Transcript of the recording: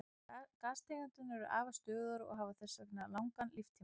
Gastegundirnar eru afar stöðugar og hafa þess vegna langan líftíma.